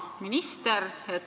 Hea minister!